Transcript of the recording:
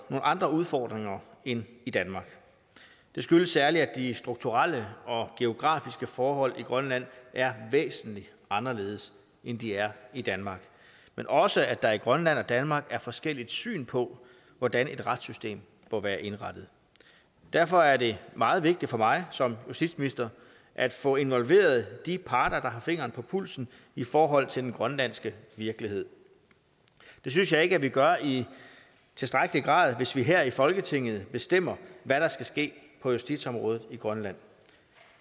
andre udfordringer end i danmark det skyldes særlig at de strukturelle og geografiske forhold i grønland er væsentlig anderledes end de er i danmark men også at der i grønland og danmark er et forskelligt syn på hvordan et retssystem bør være indrettet derfor er det meget vigtigt for mig som justitsminister at få involveret de parter der har fingeren på pulsen i forhold til den grønlandske virkelighed det synes jeg ikke at vi gør i tilstrækkelig grad hvis vi her i folketinget bestemmer hvad der skal ske på justitsområdet i grønland